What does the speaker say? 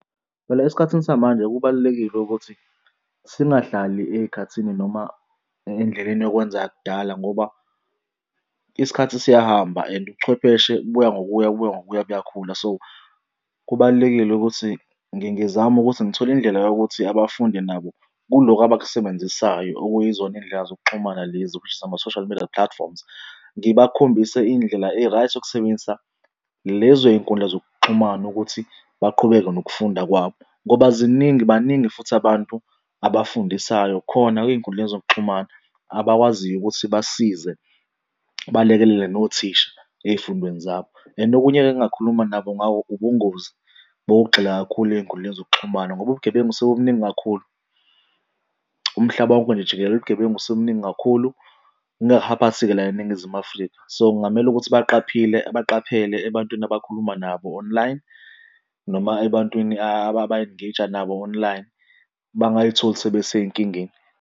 Phela esikhathini samanje kubalulekile ukuthi singahlali ey'khathini noma endleleni yokwenza yakudala ngoba isikhathi siyahamba and ubuchwepheshe buya ngokuya buya ngokuya buyakhula. So, kubalulekile ukuthi ngizame ukuthi ngithole indlela yokuthi abafundi nabo kuloku abakusebenzisayo okuyizona iy'ndlela zokuxhumana lezi of which is ama-social media platforms. Ngibakhombise indlela e-right yokusebenzisa lezo y'nkundla zokuxhumana ukuthi baqhubeke nokufunda kwabo. Ngoba ziningi, baningi futhi abantu abafundisayo khona ey'nkundleni zokuxhumana, abakwaziyo ukuthi basize balekelele nothisha ey'fundweni zabo. And okunye-ke engingakhuluma nabo ngako ubungozi bokugxila kakhulu ey'nkundleni zokuxhumana ngoba ubugebengu sebubuningi kakhulu umhlaba wonke nje jikelele ubugebengu sebubuningi kakhulu, la eNigizimu Afrika. So kungamele ukuthi abaqaphile baqaphele ebantwini abakhuluma nabo online noma ebantwini aba-engage-a nabo online bangayitholi sebesey'nkingeni.